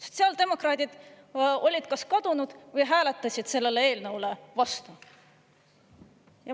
Sotsiaaldemokraadid olid kas kadunud või hääletasid sellele eelnõule vastu.